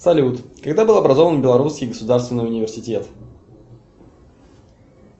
салют когда был образован белоруский государственный университет